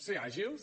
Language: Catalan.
ser àgils